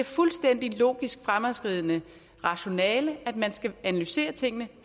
fuldstændig logisk fremadskridende rationale at man skal analysere tingene